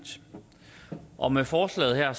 og med forslaget her